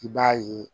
I b'a ye